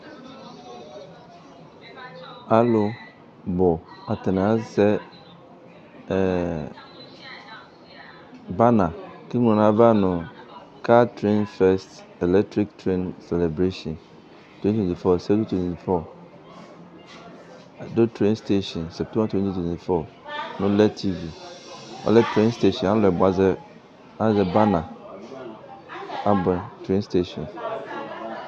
Alʋ bʋ atani azɛ bana kʋ eŋlo dʋ nʋ ayʋ ava nʋ ka tren fɛst eletrik teni selebreshin twɛn ti twɛn ti fɔ adʋ ten steshin nolɛ tivi alɛ buazɛr